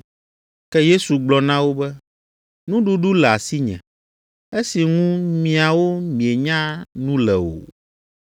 Ke Yesu gblɔ na wo be, “Nuɖuɖu le asinye, esi ŋu miawo mienya nu le o.”